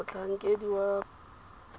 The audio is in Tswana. motlhankedi wa phepo ya bana